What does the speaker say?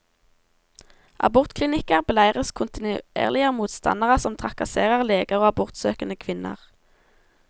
Abortklinikker beleires kontinuerlig av motstandere som trakasserer leger og abortsøkende kvinner.